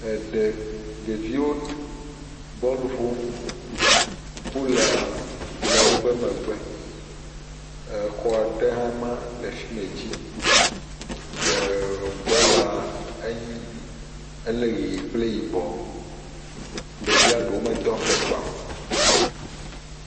Eɖe, ɖeviwo bɔlu ƒom. Polua le woƒe megbe. Exɔ ɖe hãe ma le fime dzi. Eh bɔla eh ele ʋie kple yibɔ. Ɖevia ɖewo medo afɔkpa o.